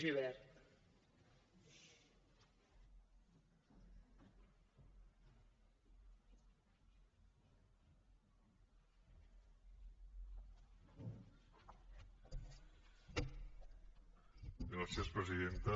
gràcies presidenta